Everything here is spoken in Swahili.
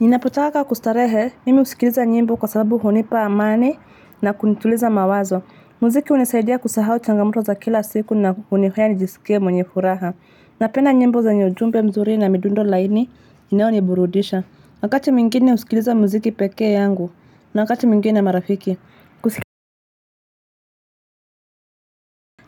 Ninapotaka kustarehe mimi husikiliza nyimbo kwa sababu hunipa amani na kunituliza mawazo. Muziki hunisaidia kusahau changamoto za kila siku na hunifanya nijisikie mwenye furaha. Napenda nyimbo zenye ujumbe mzuri na midundo laini inayoniburudisha. Wakati mwingine husikiliza muziki peke yangu na wakati mwngine marafiki